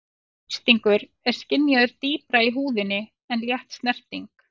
Þrýstingur er skynjaður dýpra í húðinni en létt snerting.